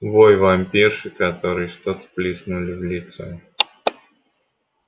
вой вампирши которой что-то плеснули в лицо